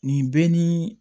Nin bɛ ni